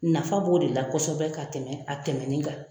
Nafa b'o de la kosɛbɛ ka tɛmɛ a tɛmɛni kan.